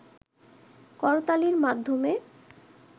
করতালির মাধ্যমে